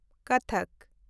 ᱠᱚᱛᱷᱚᱠ